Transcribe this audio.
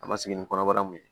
A ma sigi ni kɔnɔbara mun ye